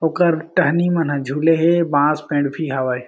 ओकर टहनी मन ह झूले हे बांस पेड़ भी हावय।